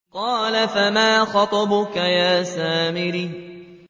قَالَ فَمَا خَطْبُكَ يَا سَامِرِيُّ